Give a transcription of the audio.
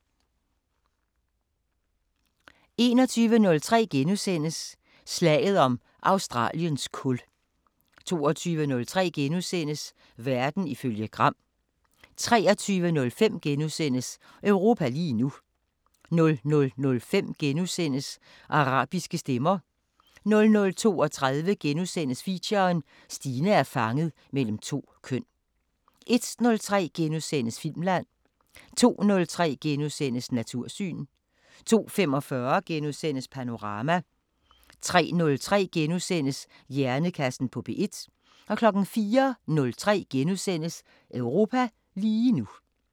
21:03: Slaget om Australiens kul * 22:03: Verden ifølge Gram * 23:05: Europa lige nu * 00:05: Arabiske Stemmer * 00:32: Feature: Stine er fanget mellem to køn * 01:03: Filmland * 02:03: Natursyn * 02:45: Panorama * 03:03: Hjernekassen på P1 * 04:03: Europa lige nu *